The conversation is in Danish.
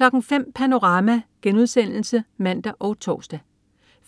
05.00 Panorama* (man og tors)